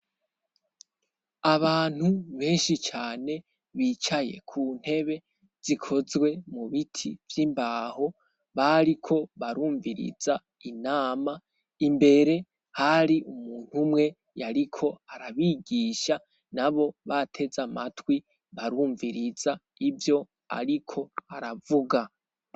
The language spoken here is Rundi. Abantu benshi cane bicaye ku ntebe zikozwe mu biti vy'imbaho bariko barumviriza inama imbere hari umuntu umwe yariko arabigisha nabo bateze amatwi barumviriza ivyo ariko aravuga.